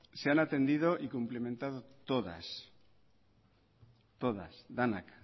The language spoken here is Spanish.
se han atendido y cumplimentado todas todas denak